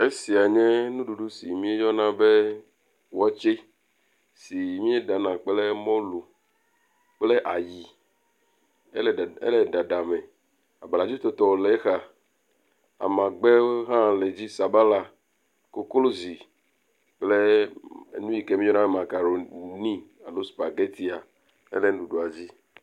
esia nye nuɖuɖu si mie yɔna be wɔtsɛ si mie ɖana kple mɔlu kple ayi ele ɖaɖa me abladzo tɔtoe le exa amagbɛwo hã le dzi sabala koklozi kple nuyike mieyɔna be makaroni alo spagɛti hã le nuɖuɖuɔ dzi